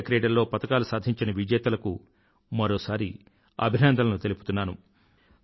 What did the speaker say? ఆసియాక్రిడల్లో పతకాలు సాధించిన విజేతలకు మరోసారి అభినందనలు తెలుపుతున్నాను